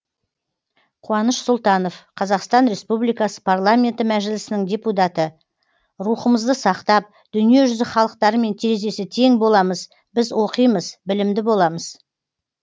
қуаныш сұлтанов қазақстан республикасы парламенті мәжілісінің депутаты рухымызды сақтап дүние жүзі халықтарымен терезесі тең боламыз біз оқимыз білімді боламыз